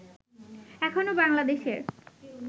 এখনও বাংলাদেশের